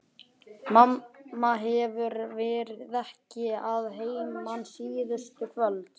Mamma hefur verið mikið að heiman síðustu kvöld.